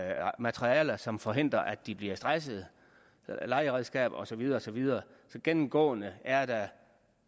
her materialer som forhindrer at de bliver stressede legeredskaber og så videre så videre så gennemgående er der